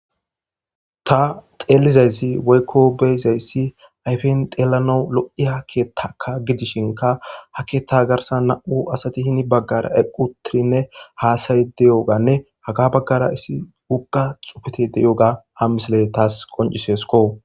Ta xeelizayzi woykko beyizayssi ayfen deelano lo7i ha keettaka gidishinka ha keetta garsa na7u asati hini baggara eqqutirinne haasayi deyoganne haga baggara issi ugga xufete deyoga ha misiley taas qoncisesko.